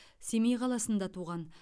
семей қаласында туған